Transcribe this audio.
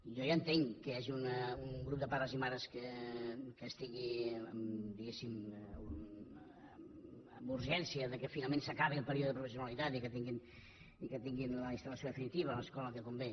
i jo ja entenc que hi hagi un grup de pares i mares que estigui diguéssim amb urgència que finalment s’acabi el període de provisi·onalitat i que tinguin la instal·lació definitiva l’escola que convé